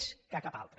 més que cap altre